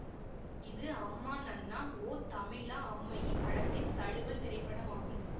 இது அம்மா நன்னா ஓ தமிழா அம்மயி படத்தின் தழுவல் திரைப்படமாகும்